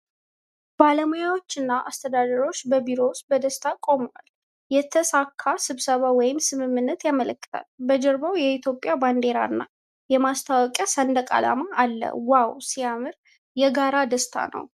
ባለሙያዎችና አስተዳዳሪዎች በቢሮ ውስጥ በደስታ ቆመዋል ። የተሳካ ስብሰባ ወይም ስምምነት ያመለክታል ። በጀርባው የኢትዮጵያ ባንዲራና የማስታወቂያ ሰንደቅ አላማ አለ ። ዋው ሲያምር! የጋራ ደስታ ነው ።